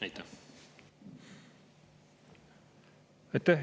Aitäh!